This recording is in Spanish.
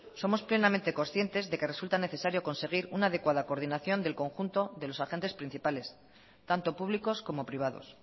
somos plenamente conscientes de que resulta necesario conseguir una adecuada coordinación del conjunto de los agentes principales tanto públicos como privados